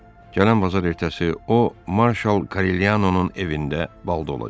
Gələn bazar ertəsi o marşal Korellyanonun evində bal olacaq.